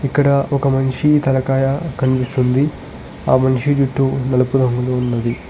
ఇక్కడ ఒక మనిషి తలకాయ కనిపిస్తుంది ఆ మనిషి జుట్టు నలుపు రంగులో ఉన్నది.